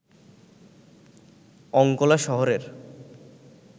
অঙ্কোলা শহরের